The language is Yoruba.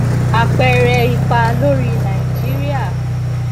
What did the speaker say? apeere ipa lori nigeria